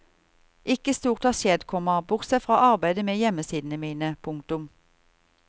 Ikke stort har skjedd, komma bortsett fra arbeidet med hjemmesidene mine. punktum